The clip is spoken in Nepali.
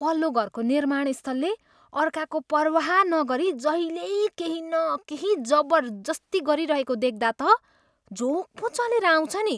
पल्लोघरको निर्माणस्थलले अर्काको पर्वाह नगरी जहिल्यै केही न केही जबरजस्ती गरिरहेको देख्दा त झोक पो चलेर आउँछ नि।